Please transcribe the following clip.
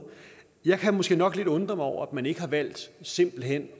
jeg kan måske nok undre mig lidt over at man ikke har valgt simpelt hen